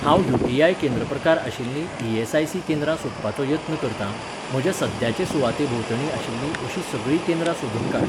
हांव यू.टी.आय. केंद्र प्रकार आशिल्लीं ई.एस.आय.सी. केंद्रां सोदपाचो यत्न करतां, म्हज्या सद्याचे सुवाते भोंवतणी आशिल्लीं अशीं सगळीं केंद्रां सोदून काड